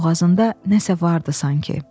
Boğazında nəsə vardı sanki.